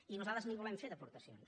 i nosaltres n’hi volem fer d’aportacions